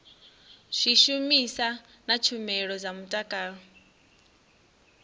zwishumiswa na tshumelo dza mutakalo